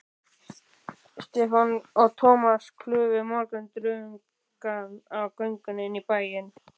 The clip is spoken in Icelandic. Stefán og Thomas klufu morgundrungann á göngunni inn í bæinn.